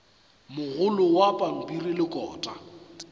mogolo wa pampiri le kota